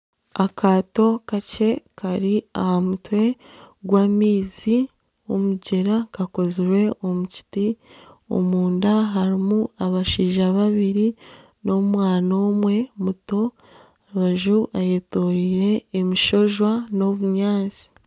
Akaato kakye kari aha mutwe gw'amaizi g'omugyera kakozirwe omu kiti omunda harimu abashaija babiri n'omwana omwe muto aha rubaju hetooreire omushojwa n'obunyaatsi